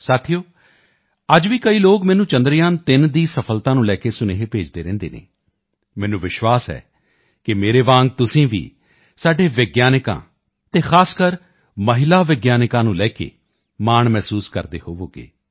ਸਾਥੀਓ ਅੱਜ ਵੀ ਕਈ ਲੋਕ ਮੈਨੂੰ ਚੰਦਰਯਾਨ3 ਦੀ ਸਫ਼ਲਤਾ ਨੂੰ ਲੈ ਕੇ ਸੁਨੇਹੇ ਭੇਜਦੇ ਰਹਿੰਦੇ ਹਨ ਮੈਨੂੰ ਵਿਸ਼ਵਾਸ ਹੈ ਕਿ ਮੇਰੇ ਵਾਂਗ ਤੁਸੀਂ ਵੀ ਸਾਡੇ ਵਿਗਿਆਨਕਾਂ ਅਤੇ ਖ਼ਾਸਕਰ ਮਹਿਲਾ ਵਿਗਿਆਨਕਾਂ ਨੂੰ ਲੈ ਕੇ ਮਾਣ ਮਹਿਸੂਸ ਕਰਦੇ ਹੋਵੋਗੇ